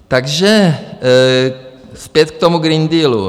Takže zpět k tomu Green Dealu.